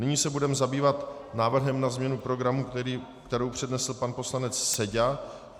Nyní se budeme zabývat návrhem na změnu programu, který přednesl pan poslanec Seďa.